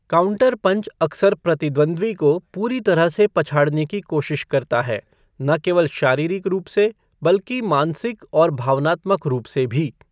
Counter punch अक्सर प्रतिद्वंद्वी को पूरी तरह से पछाड़ने की कोशिश करता है, न केवल शारीरिक रूप से, बल्कि मानसिक और भावनात्मक रूप से भी।